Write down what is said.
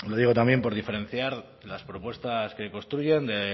lo digo también por diferenciar las propuestas que construyen de